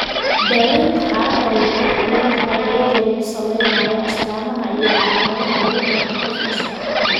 Daaweynta xaaladdan way kala duwan tahay iyadoo lagu saleynayo astaamaha iyo calaamadaha lagu garto qof kasta.